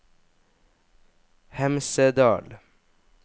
Hemsedal